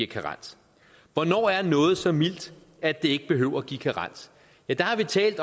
karens hvornår er noget så mildt at det ikke behøver at give karens ja der har vi talt